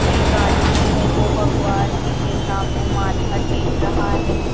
एक आदमी है जो भगवान जी के सामने माथा टेक रहा है।